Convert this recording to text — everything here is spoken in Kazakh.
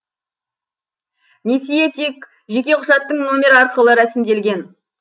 несие тек жеке құжаттың номері арқылы рәсімделген